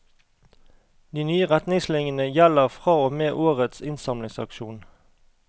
De nye retningslinjene gjelder fra og med årets innsamlingsaksjon.